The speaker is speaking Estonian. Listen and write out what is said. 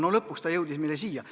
No lõpuks ta jõudis meile siia.